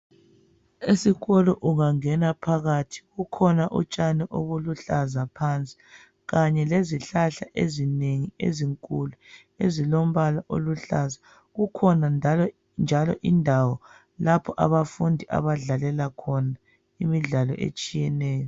Esikolo ungangena phakathi kukhona utshani obuluhlaza phansi kanye lezihlahla ezinengi ezinkulu ezilombala oluhlaza. Kukhona njalo indawo lapho abafundi abadlalela khona imidlalo etshiyeneyo.